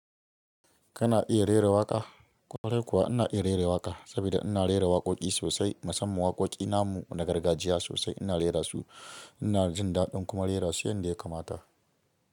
Kana iya rera waƙa? Ƙwarai kuwa ina iya rera waƙa saboda ina rera waƙoƙi sosai musamman waƙoƙi namu na gargajiya sosai ina rera su ina jin daɗin kuma rera su yadda ya kamata.